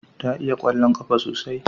Ta iya kwallon kafa sosai